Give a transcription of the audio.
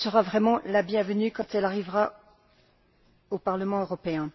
Elle sera vraiment la bienvenue, quand elle arrivera au Parlement européen.